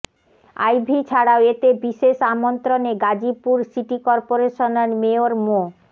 আইভী ছাড়াও এতে বিশেষ আমন্ত্রণে গাজীপুর সিটি কর্পোরেশনের মেয়র মো